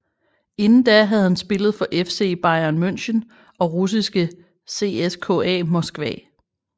Inden da havde han spillet for FC Bayern Munchen og russiske CSKA Moskva